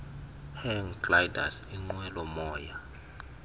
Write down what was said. hang gliders inqwelomoya